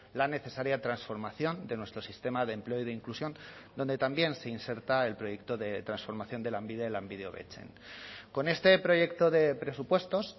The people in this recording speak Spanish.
la necesaria transformación de nuestro sistema de empleo y de inclusión donde también se inserta el proyecto de transformación de lanbide lanbide hobetzen con este proyecto de presupuestos